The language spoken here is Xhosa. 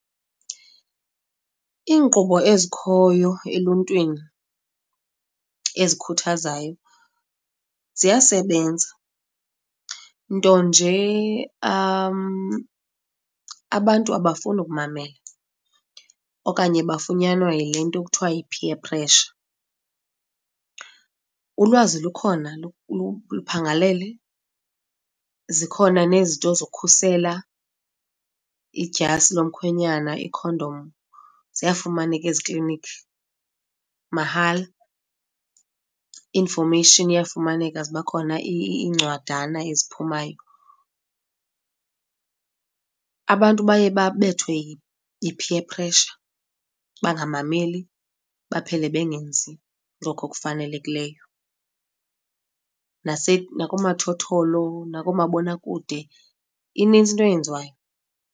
Iinkqubo ezikhoyo eluntwini ezikhuthazayo ziyasebenza, nto nje abantu abafuni ukumamela okanye bafunyanwa yile nto ekuthiwa yi-peer pressure. Ulwazi lukhona luphangalele zikhona nezinto zokhusela, idyasi yomkhwenyana, iikhondom ziyafumaneka ezikliniki mahala. I-information iyafumaneka, ziba khona iincwadana eziphumayo. Abantu baye babethwe yi-peer pressure, bangamameli baphele bengenzi ngoko kufanelekileyo. Nakoonomathotholo, nakoomabonakude, inintsi into eyenziwayo.